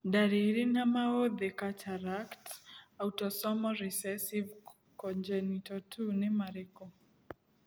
Ndariri na maũthĩ Cataract, autosomal recessive congenital 2 nĩ marĩkũ?